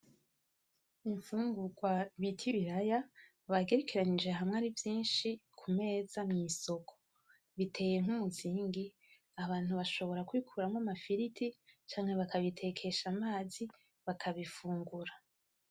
N'imfungugwa bita ibiraya bagerekeranirije hamwe ari vyinshi kumeza mwisoko biteye nk'umuzingi abantu bashobora kubikuramwo amafiriti canke bakabitekesha amazi bakabifungura.